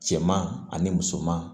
Cɛman ani musoman